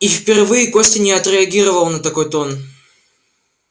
и впервые костя не отреагировал на такой тон